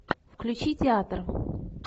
включи театр